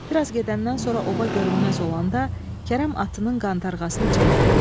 Bir az gedəndən sonra oba görünməz olanda Kərəm atının qantarğasını çəkdi.